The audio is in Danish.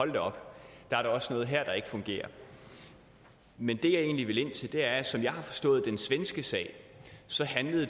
da op der er da også noget her der ikke fungerer men det jeg egentlig vil ind til er at som jeg har forstået den svenske sag så handlede